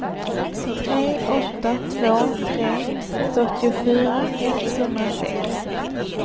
tre åtta två tre fyrtiofyra etthundrasex